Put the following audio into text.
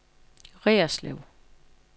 Reerslev